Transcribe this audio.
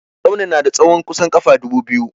Tsaunin na da tsahon kusan ƙafa dubu biyu.